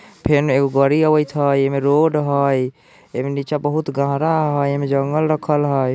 फेन एन्ने एगो गाड़ी आवत हई एमे रोड हई एमे नीचा बहुत गहरा हई एमे जंगल रखल हई।